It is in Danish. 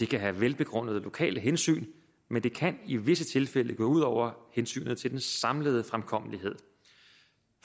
kan være velbegrundede lokale hensyn men det kan i visse tilfælde gå ud over hensynet til den samlede fremkommelighed